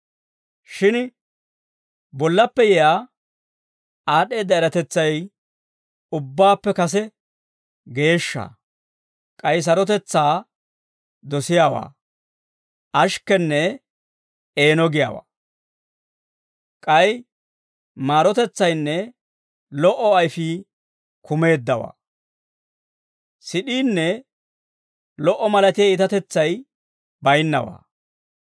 Shin bollappe yiyaa aad'd'eedda eratetsay ubbaappe kase geeshsha. K'ay sarotetsaa dosiyaawaa, ashikkenne eeno giyaawaa; k'ay maarotetsaynne lo"o ayfii kumeeddawaa. Sid'iinne lo"o malatiyaa iitatetsay bayinnawaa.